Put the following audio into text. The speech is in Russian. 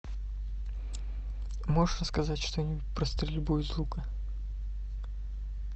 можешь рассказать что нибудь про стрельбу из лука